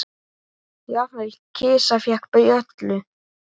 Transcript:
Jafnvel kisa fékk bjöllu.